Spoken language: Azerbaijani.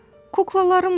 Kuklalarımla.